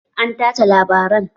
An tace labarai